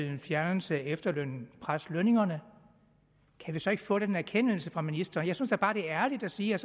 en fjernelse af efterlønnen dermed presse lønningerne kan vi så ikke få den erkendelse fra ministeren jeg synes da bare det er ærligt at sige at